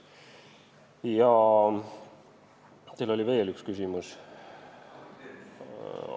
Teil oli veel üks küsimus.